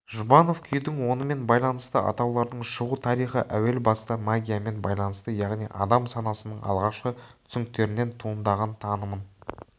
жұбанов күйдің онымен байланысты атаулардың шығу тарихы әуел баста магиямен байланысты яғни адам санасының алғашқы түсініктерінен туындаған таныммен